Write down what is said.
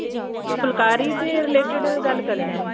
ਫੁੱਲਕਾਰੀ ਦੇ related ਗੱਲ ਕਰਨੀ